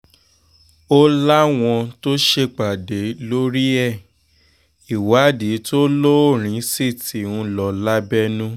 ó láwọn ti ṣèpàdé lórí ẹ̀ ìwádìí tó lóòrìn sí ti ń lọ lábẹ́nú